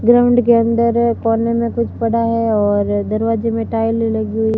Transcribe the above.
ground के अंदर कोने में कुछ पड़ा है और दरवाजे में टाइल लगी हु--